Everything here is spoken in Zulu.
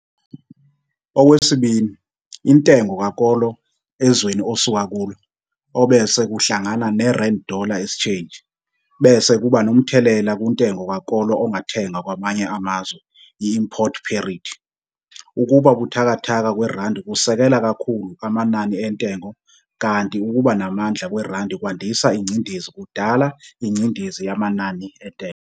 Okwesibili, intengo kakolo ezweni osuka kulo, obese kuhlangana ne-rand dollar exchange, bese kuba nomthelela kuntengo kakolo ongathengwa kwamanye amazwe, i-import parity, ukuba buthakathaka kwerandi kusekela kakhulu amanani entengo kanti ukuba namandla kwerandi kwandisa ingcindezi kudala ingcindezi yamanani entengo.